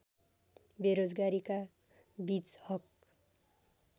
बेरोजगारीका बीच हक